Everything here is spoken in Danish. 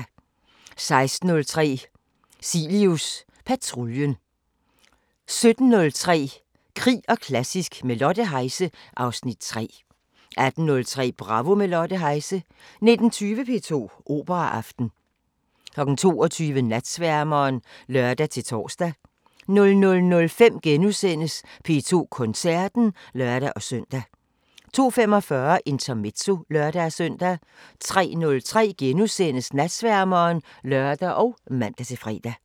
16:03: Cilius patruljen 17:03: Krig og klassisk – med Lotte Heise (Afs. 3) 18:03: Bravo – med Lotte Heise 19:20: P2 Operaaften 22:00: Natsværmeren (lør-tor) 00:05: P2 Koncerten *(lør-søn) 02:45: Intermezzo (lør-søn) 03:03: Natsværmeren *(lør og man-fre)